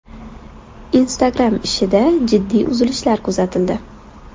Instagram ishida jiddiy uzilishlar kuzatildi.